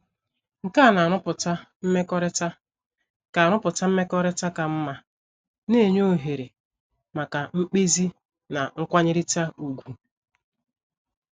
Nke a na - arụpụta mmekọrịta ka arụpụta mmekọrịta ka mma, na - enye ohere maka mkpezi na nkwanyerịta ùgwù.